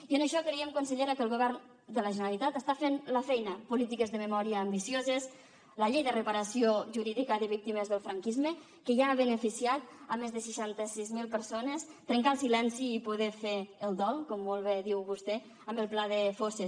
i en això creiem consellera que el govern de la generalitat està fent la feina polítiques de memòria ambicioses la llei de reparació jurídica de víctimes del franquisme que ja ha beneficiat més de seixanta sis mil persones trencar el silenci i poder fer el dol com molt bé diu vostè amb el pla de fosses